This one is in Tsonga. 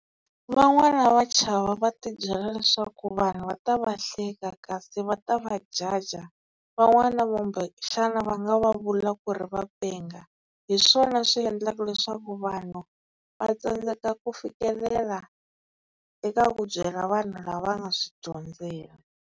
Van'wana va chava va ti byela leswaku vanhu va ta va hleka kasi va ta va judge. Van'wana va kumbexana va nga va vula ku ri va penga. Hi swona swi endlaka leswaku vanhu va tsandzeka ku fikelela eka ku byela vanhu lava nga swi dyondzela.